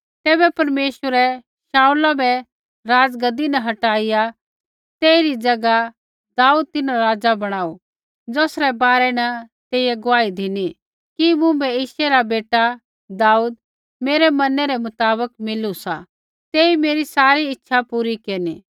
तैबै परमेश्वरै शाऊला बै राज़गद्दी न हटाईया तेइरी ज़ैगा दाऊद तिन्हरा राज़ा बणाऊ ज़ौसरै बारै न तेइयै गुआही धिनी कि मुँभै यिशै रा बेटा दाऊद मेरै मनै रै मुताबक मिलू सा तेई मेरी सारी इच्छा पूरी केरनी